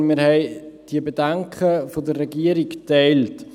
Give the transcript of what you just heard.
Denn wir haben diese Bedenken der Regierung geteilt.